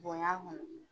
Bonya kɔni